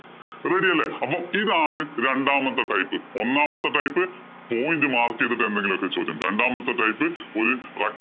അപ്പൊ ready അല്ലേ. അപ്പൊ ഇതാണ് രണ്ടാമത്തെ type. ഒന്നാമത്തെ type point mark ചെയ്തിട്ട് എന്തെങ്കിലും ചോദ്യം. രണ്ടാമത്തെ type ഒരു rect